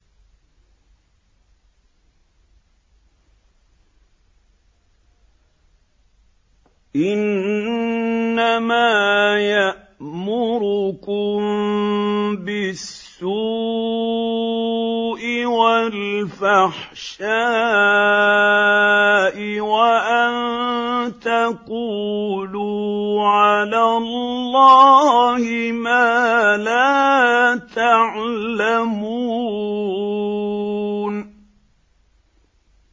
إِنَّمَا يَأْمُرُكُم بِالسُّوءِ وَالْفَحْشَاءِ وَأَن تَقُولُوا عَلَى اللَّهِ مَا لَا تَعْلَمُونَ